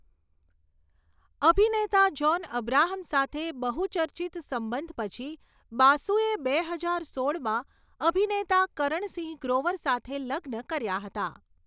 અભિનેતા જ્હોન અબ્રાહમ સાથે બહુ ચર્ચિત સંબંધ પછી, બાસુએ બે હજાર સોળમાં અભિનેતા કરણ સિંહ ગ્રોવર સાથે લગ્ન કર્યા હતા.